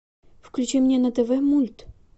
включи мне на тв мульт